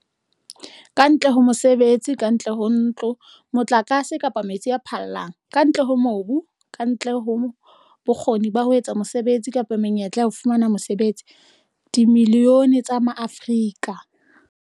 Kantle ho mosebetsi, kantle ho ntlo, motlakase kapa metsi a phallang, kantle ho mobu, kantle ho bokgoni ba ho etsa mosebetsi kapa menyetla ya ho fumana mosebetsi, dimilione tsa Maafrika